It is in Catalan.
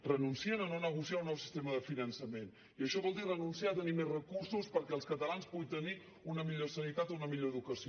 renuncien a no negociar un nou sistema de finançament i això vol dir renunciar a tenir més recursos perquè els catalans puguin tenir una millor sanitat una millor educació